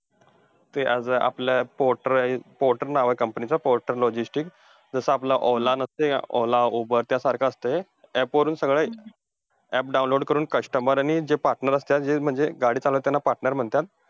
ते अगं आपलं पोर्टर आहे. पोर्टर नाव आहे company चं. Porter logistic. जसं आपलं ओला नसतंय का? ओला, उबर त्यासारखा असतं हे. app वरून सगळं app download करून customer आणि जे partner असतात, म्हणजे जे गाडी चालवतात त्यांना partner म्हणतात.